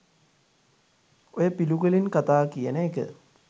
ඔය පිළිකුලෙන් කතා කියන එක